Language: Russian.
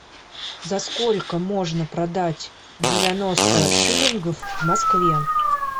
за сколько можно продать девяносто шиллингов в москве